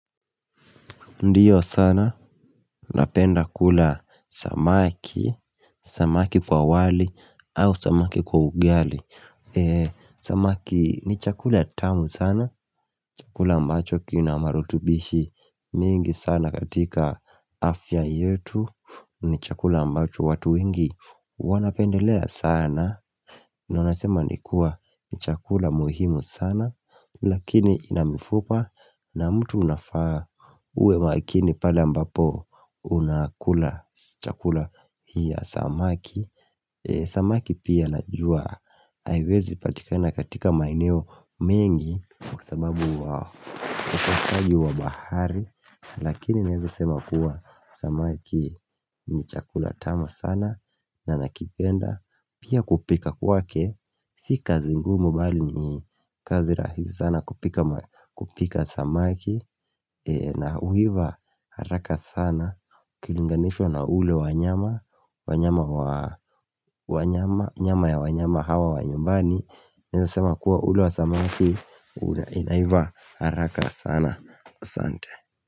Ndiyo sana, napenda kula samaki, samaki kwa wali, au samaki kwa ugali Samaki ni chakula tamu sana, chakula ambacho kina marutubishi mengi sana katika afya yetu ni chakula ambacho watu wengi wanapendelea sana, na unasema ni kuwa ni chakula muhimu sana Lakini ina mifupa na mtu unafaa uwe makini pale ambapo unakula chakula hii ya samaki Samaki pia najua haiwezi patikana katika maeneo mengi Kwa sababu wa ukosaji wa bahari Lakini naeze sema kuwa samaki ni chakula tamu sana na nakipenda Pia kupika kwake Si kazi ngumu bali ni kazi rahisi sana kupika kupika samaki na uiva haraka sana Kilinganishwa na ule wanyama wanyama wa Nyama ya wanyama hawa wa nyumbani Naeza sema kuwa ule wa samaki una inaiva haraka sana asante.